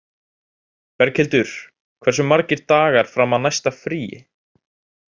Berghildur, hversu margir dagar fram að næsta fríi?